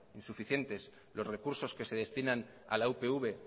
insuficientes los recursos que se destinan a la upv